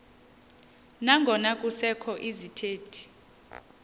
nangona kusekho izithethi